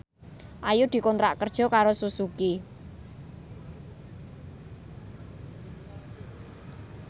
Ayu dikontrak kerja karo Suzuki